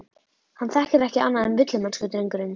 Hann þekkir ekki annað en villimennsku, drengurinn.